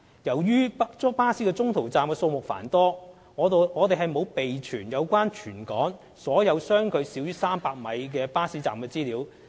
由於巴士中途站的數目繁多，我們沒有備存有關全港所有相距少於300米的巴士站資料。